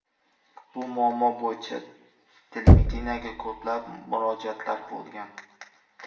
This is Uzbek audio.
Bu muammo bo‘yicha televideniyega ko‘plab murojaatlar bo‘lgan.